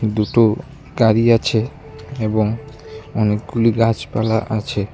দুটো গাড়ি আছে এবং অনেকগুলি গাছপালা আছে।